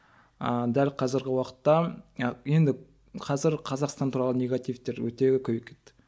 ыыы дәл қазіргі уақытта енді қазір қазақстан туралы негативтер өте көбейіп кетті